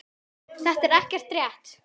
Þetta er ekki rétt.